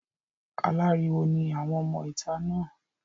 Aláriwo ni àwọn ọmọ ìta náà.